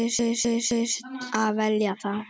Og hugðust þá selja það.